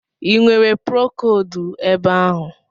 i nwere procodu ebe ahụ?